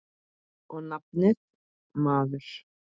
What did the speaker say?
Og nafnið, maður.